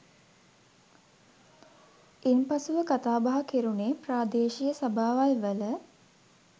ඉන්පසුව කතාබහ කෙරුණේ ප්‍රාදේශීය සභාවල්වල